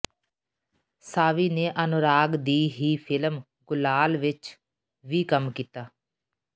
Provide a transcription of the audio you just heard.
ਸਾਵੀ ਨੇ ਅਨੁਰਾਗ ਦੀ ਹੀ ਫ਼ਿਲਮ ਗੁਲਾਲ ਵਿਚ ਵੀ ਕੰਮ ਕੀਤਾ